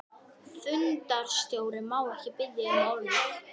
Fundarstjóri, má ég biðja um orðið?